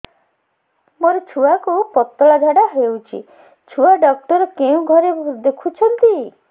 ମୋର ଛୁଆକୁ ପତଳା ଝାଡ଼ା ହେଉଛି ଛୁଆ ଡକ୍ଟର କେଉଁ ଘରେ ଦେଖୁଛନ୍ତି